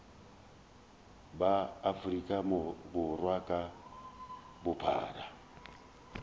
ba afrika borwa ka bophara